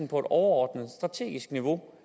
et overordnet strategisk niveau